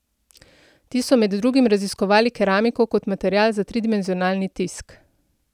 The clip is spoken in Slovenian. Ti so med drugim raziskovali keramiko kot material za tridimenzionalni tisk.